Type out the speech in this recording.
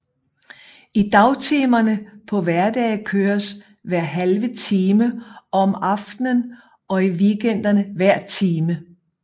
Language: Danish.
I dagtimerne på hverdage køres hver halve time og om aftenen og i weekenden hver time